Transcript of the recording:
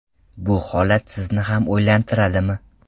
Bu holat sizni ham o‘ylantiradimi?